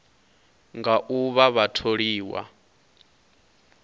nga u vha vha tholiwa